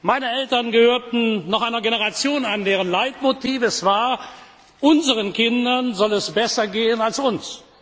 Meine Eltern gehörten noch einer Generation an, deren Leitmotiv es war Unseren Kindern soll es besser gehen als uns.